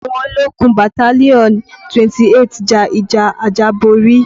Àwọn ológun battalion 28 ja ìjà àjàborí